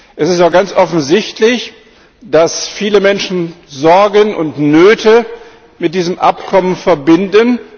Es ist doch ganz offensichtlich, dass viele Menschen Sorgen und Nöte mit diesem Abkommen verbinden.